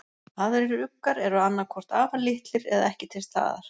Aðrir uggar eru annað hvort afar litlir eða ekki til staðar.